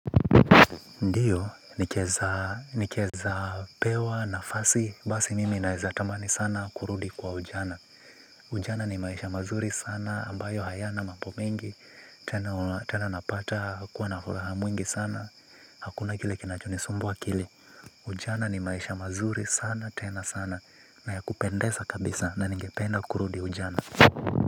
Ndiyo, nikiweza pewa nafasi, basi mimi naweza tamani sana kurudi kwa ujana. Ujana ni maisha mazuri sana, ambayo hayana mambo mengi, tena napata, kuwa na furaha mwingi sana, hakuna kile kiinachonisumbua akili. Ujana ni maisha mazuri sana, tena sana, nayakupendeza kabisa, na ningependa kurudi ujana.